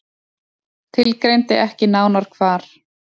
Tilgreindi ekki nánar hvar.